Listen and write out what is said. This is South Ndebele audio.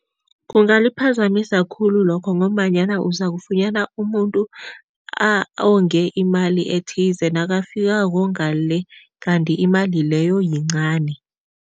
Kungaliphazamisa khulu lokho ngombanyana uzakufunyana umuntu onge imali ethize, nakafikako ngale kanti imali leyo yincani.